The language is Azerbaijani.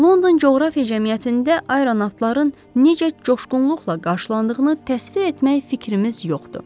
London Coğrafiya Cəmiyyətində ayronavtların necə coşqunluqla qarşılandığını təsvir etmək fikrimiz yoxdur.